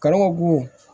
Karo bon